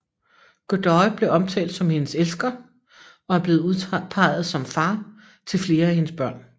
Godoy blev omtalt som hendes elsker og er blevet udpeget som far til flere af hendes børn